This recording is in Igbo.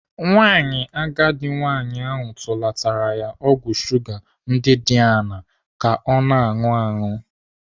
Nwa agadi nwaanyị ahụ tụlatara ya ọgwụ shuga ndị dị aṅaa ka ọ na-anụ aṅụ.